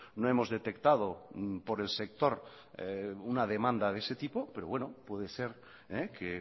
no hemos detectado por el sector una demanda de ese tipo pero puede ser que